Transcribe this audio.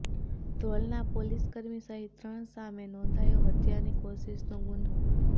ધ્રોલના પોલીસકર્મી સહીત ત્રણ સામે નોંધાયો હત્યાની કોશિશનો ગુન્હો